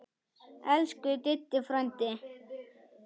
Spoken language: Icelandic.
Elsku Diddi frændi.